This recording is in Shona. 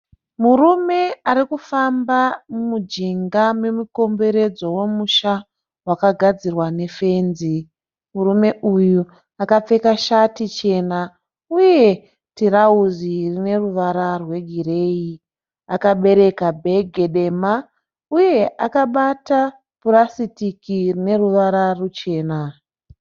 Murume arikufamba mujinga memukomberedzo womusha wakagadzirwa nefenzi. Murume uyu akapfeka shati chena uye tirawuzi rineruvara rwegireyi. Akabereka bhege dema uye akabata purasitiki rineruvara ruchena.